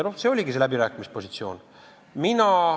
See oligi see läbirääkimispositsioon.